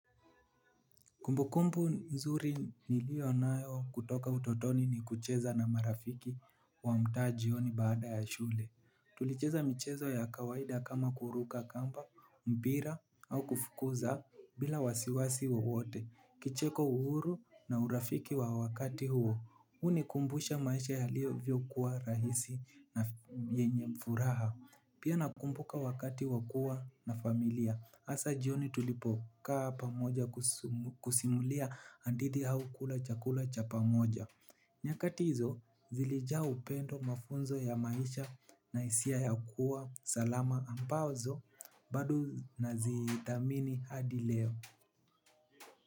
Kumbukumbu nzuri niliyonayo kutoka utotoni ni kucheza na marafiki wa mtaa jioni baada ya shule. Tulicheza michezo ya kawaida kama kuruka kamba, moira au kufukuza bila wasiwasi wowote. Kicheko uhuru na urafiki wa wakati huo. Hunikumbusha maisha yaliovyokuwa rahisi na yenye furaha. Pia nakumbuka wakati wakuwa na familia. Hasa jioni tulipokaa pamoja kusimulia hadithi au kula chakula cha pamoja. Nyakati hizo zilijaa upendo, mafunzo ya maisha na hisia ya kuwa salama ambazo bado nazithamini hadi leo.